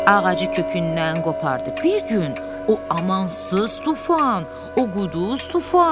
Ağacı kökündən qopardı bir gün o amansız tufan, o quduz tufan.